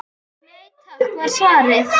Nei takk var svarið.